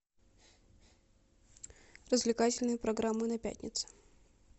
развлекательные программы на пятнице